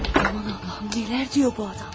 Allahım, Allahım, bu adam nələr deyir?